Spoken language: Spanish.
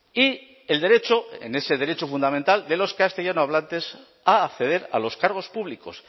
y el derecho en ese derecho fundamental de los castellanohablantes a acceder a los cargos públicos